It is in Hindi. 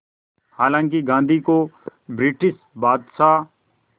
हालांकि गांधी को ब्रिटिश बादशाह